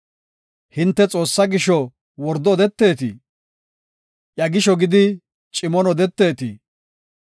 Hinte Xoossaa gisho wordo odeteetii? Iya gisho gidi cimon odeteetii?